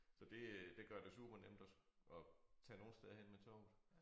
Så det øh det gør det supernemt at at tage nogen steder hen med toget